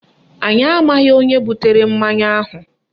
Anyị amaghị onye butere mmanya ahụ